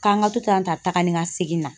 K'an ka to tan tagani ka seginna